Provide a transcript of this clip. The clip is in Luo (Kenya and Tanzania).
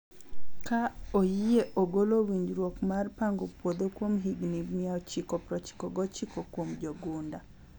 ka oyie ogolo winjruok mar pango puodho kuom higni 999 kuom jogunda